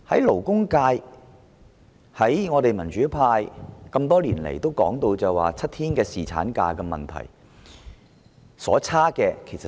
勞工界和民主派多年來提出7天侍產假的建議。